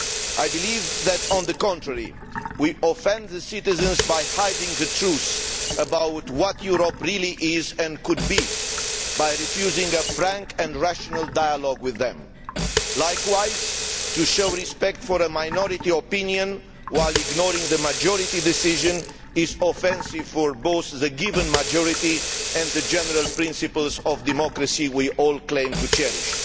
I believe that, on the contrary, we are offending the citizens by hiding the truth about what Europe really is, and could be, and by refusing a frank and rational dialogue with them. Likewise, to show respect for a minority opinion while ignoring the majority decision is offensive to both the given majority and the general principles of democracy we all claim to cherish.